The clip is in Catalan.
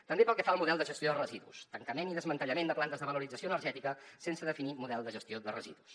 també pel que fa al model de gestió de residus tancament i desmantellament de plantes de valorització energètica sense definir model de gestió de residus